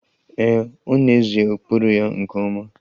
Ee, ọ n'ezie kpụrụ ya nke ọma